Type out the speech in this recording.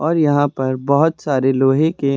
और यहां पर बहोत सारे लोहे के--